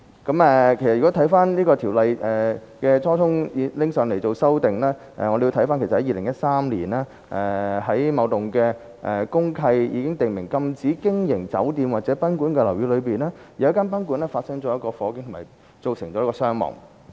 如果回看這《條例》修訂的初衷，我們要回溯至2013年，在某幢公契已訂明禁止經營酒店或賓館的樓宇內，有一間賓館發生火警並造成傷亡。